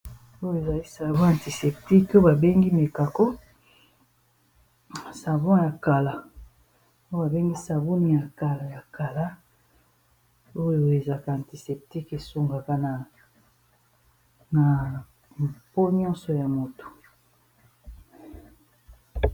Oyo ezali savon antiseptique oyo babengi Mekako savon ya kala oyo babengi sabuni ya kala ya kala oyo ezaka antiseptique esungaka na mpo nyonso ya moto.